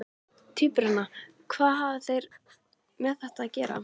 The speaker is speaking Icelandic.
Tvíburana, hvað hafa þeir með þetta að gera?